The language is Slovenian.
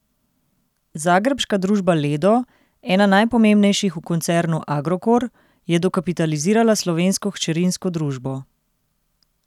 Zagrebška družba Ledo, ena najpomembnejših v koncernu Agrokor, je dokapitalizirala slovensko hčerinsko družbo.